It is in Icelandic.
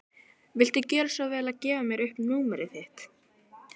Viltu gjöra svo vel að gefa mér upp númerið þitt?